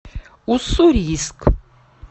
уссурийск